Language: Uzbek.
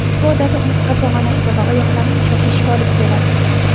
Ushbu odat umurtqa pog‘onasi va oyoqlarning charchashiga olib keladi.